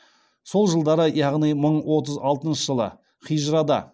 сол жылдары яғни мың отыз алтыншы жылы хижрада